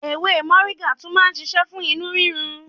Ewé Mọ̀ríngà tún má ń ṣiṣẹ́ fún inú rírun.